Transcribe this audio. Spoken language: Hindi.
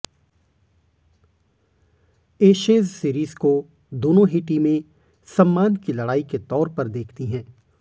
एशेज सीरीज को दोनों ही टीमें सम्मान की लड़ाई के तौर पर देखती हैं